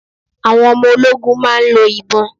Àwọn ọmọ ológun máa ń lọ ìbọn.